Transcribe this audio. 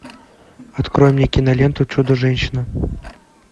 открой мне киноленту чудо женщина